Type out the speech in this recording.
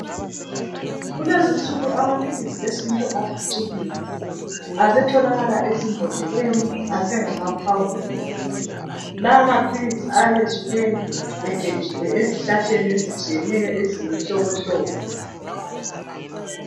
Kulezi insuku amaphili esintu aphucukile. Asetholakala ezibhedlela asengamakhawunta. Lawa maphilisi ayabe esuke egejiwe ezihlahleni ezitshiyeneyo lemihlobohlobo.